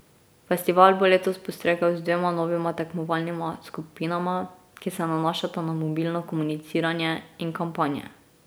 Festival bo letos postregel z dvema novima tekmovalnima skupinama, ki se nanašata na mobilno komuniciranje in kampanje.